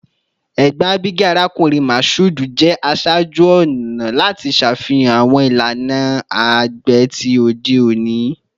Egbon Abigail, Arakunrin Mashood, jẹ aṣaaju-ọna lati ṣafihan awọn ilana agbe ti ode oni